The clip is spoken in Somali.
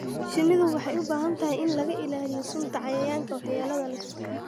Shinnidu waxay u baahan tahay in laga ilaaliyo sunta cayayaanka waxyeelada leh.